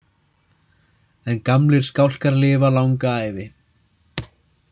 En gamlir skálkar lifa langa ævi.